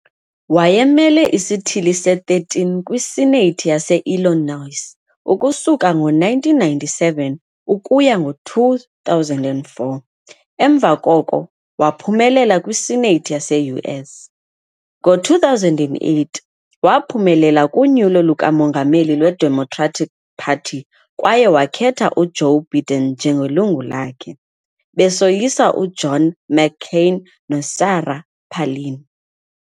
Wayemele isithili se-13 kwi-Senate yase-Illinois ukusuka ngo-1997 ukuya ngo-2004, emva koko waphumelela kwiSenate yase-US. Ngo-2008, waphumelela kunyulo lukamongameli lweDemocratic Party kwaye wakhetha uJoe Biden njengelungu lakhe, besoyisa uJohn McCain noSarah Palin.